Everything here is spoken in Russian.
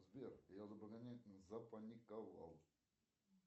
сбер я запаниковал